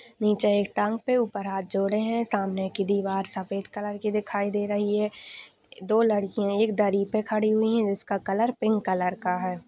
नीचे एक टांग पे उपर हाथ जोड़े है। सामने की दीवार सफ़ेद कलर के दिखाई दे रही है। दो लडकीय एक दरी पे खड़ी हुई है। इसका कलर पिंक कलर का है।